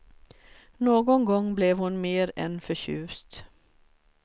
Någon gång blev hon mer än förtjust.